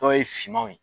Dɔw ye finmanw ye